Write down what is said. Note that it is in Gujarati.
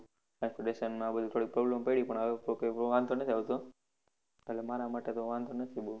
Accommodation માં બધી થોડી problem પડી પણ હવે તો કોઈ વાંધો નહિ આવતો, એટલે મારા માટે તો વાંધો નથી બોવ.